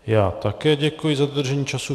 Já také děkuji za dodržení času.